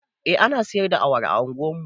Eh ana siyar da awara a unguwar mu